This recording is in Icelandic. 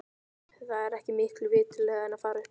Er það ekki miklu viturlegra en að fara upp?